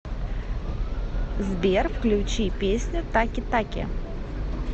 сбер включи песню таки таки